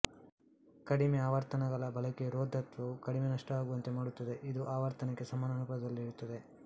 ಕಡಿಮೆ ಆವರ್ತನಗಳ ಬಳಕೆಯು ರೋಧತ್ವವು ಕಡಿಮೆ ನಷ್ಟವಾಗುವಂತೆ ಮಾಡುತ್ತದೆ ಇದು ಆವರ್ತನಕ್ಕೆ ಸಮಾನ ಅನುಪಾತದಲ್ಲಿರುತ್ತದೆ